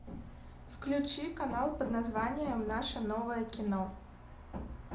включи канал под названием наше новое кино